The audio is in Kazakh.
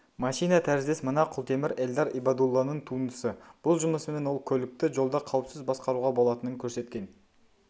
машина тәріздес мына құлтемір эльдар ибадулланың туындысы бұл жұмысымен ол көлікті жолда қауіпсіз басқаруға болатынын көрсеткен